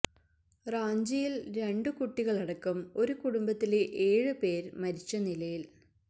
റാഞ്ചിയിൽ രണ്ടു കുട്ടികളടക്കം ഒരു കുടുംബത്തിലെ ഏഴ് പേര് മരിച്ച നിലയില്